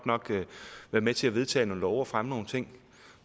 være med til at vedtage nogle love og fremme nogle ting